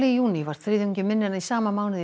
í júní var þriðjungi minni en í sama mánuði í